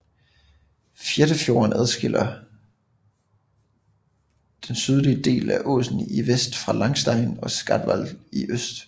Fættenfjorden skiller den sydlige del af Åsen i vest fra Langstein og Skatval i øst